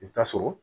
I bɛ taa sɔrɔ